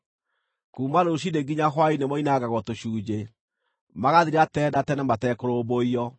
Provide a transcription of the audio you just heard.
Kuuma rũciinĩ nginya hwaĩ-inĩ moinangagwo tũcunjĩ; magathira tene na tene matekũrũmbũiyo.